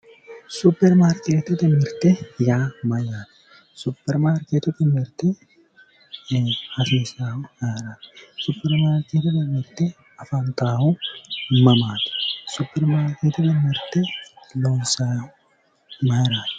superimaarkeetete mirte yaa mayyaate? superimaarkeetete mirte hasiissaahu ayeeraati? superimaarkeetete mirte afantaahu mamaati? superimaarkeetete mirte loonsannihu mayiinniiti?